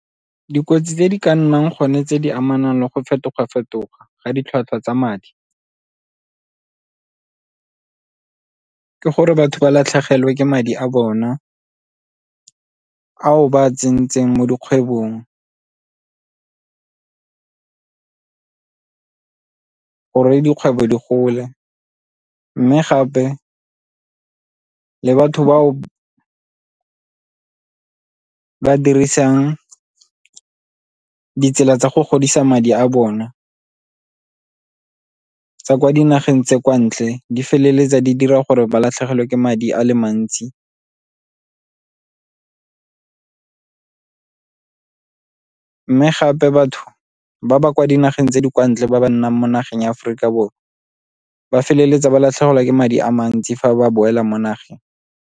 Dikotsi tse di ka nnang gone tse di amanang le go fetoga-fetoga ga ditlhwatlhwa tsa madi ke gore batho ba latlhegelwe ke madi a bona ao ba tsentseng mo dikgwebong gore dikgwebo di gole, mme gape le batho bao ba dirisang ditsela tsa go godisa madi a bona tsa kwa dinageng tse kwa ntle di feleletsa di dira gore ba latlhegelwe ke madi a le mantsi. Mme gape batho ba ba kwa dinageng tse di kwa ntle ba ba nnang mo nageng ya Aforika Borwa ba feleletsa ba latlhegelwa ke madi a mantsi fa ba boela mo nageng.